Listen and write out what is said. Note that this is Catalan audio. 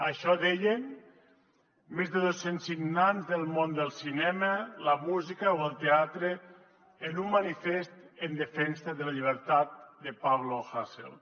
això deien més de dos cents signants del món del cinema la música o el teatre en un manifest en defensa de la llibertat de pablo hasél